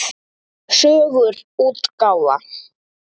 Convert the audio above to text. Sögur útgáfa.